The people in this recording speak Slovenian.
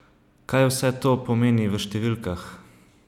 Kaj vse to pomeni v številkah?